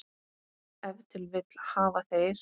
Ef til vill hafa þeir.